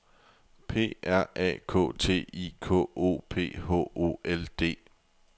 P R A K T I K O P H O L D